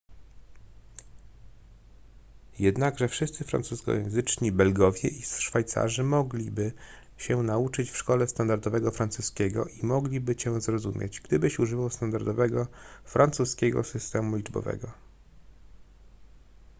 jednakże wszyscy francuskojęzyczni belgowie i szwajcarzy mogliby się nauczyć w szkole standardowego francuskiego i mogliby cię zrozumieć gdybyś używał standardowego francuskiego systemu liczbowego